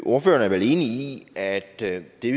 ordføreren er vel enig i at det vi